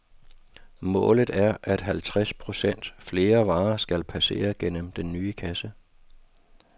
Målet er, at halvtreds procent flere varer skal passere gennem den nye kasse.